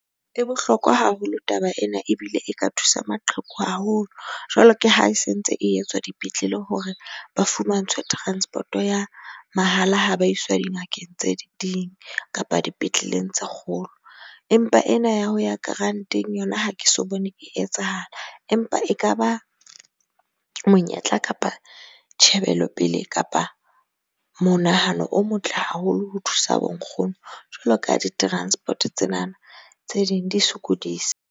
E bohlokwa haholo taba ena ebile e ka thusa maqheku haholo jwalo ka ha e sentse e etswa dipetlele, hore ba fumantshwe transport-o ya mahala, ha ba iswa dingakeng tse ding kapa dipetleleng tse kgolo. Empa ena ya ho ya grant-eng yona, ha ke so bone e etsahala empa ekaba monyetla kapa tjhebelo pele kapa monahano o motle haholo, ho thusa bo nkgono jwalo ka di-transport-o tsena na tse ding di sokodisa.